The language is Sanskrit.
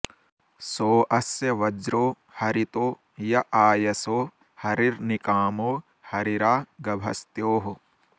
सो अ॑स्य॒ वज्रो॒ हरि॑तो॒ य आ॑य॒सो हरि॒र्निका॑मो॒ हरि॒रा गभ॑स्त्योः